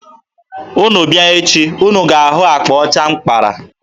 Unu bịa echi, unu ga-ahụ akpa ọcha m kpara.